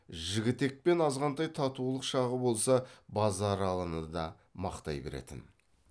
жігітекпен азғантай татулық шағы болса базаралыны да мақтай беретін